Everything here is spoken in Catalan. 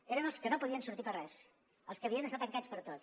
eren els que no podien sortir per res els que havien d’estar tancats per tot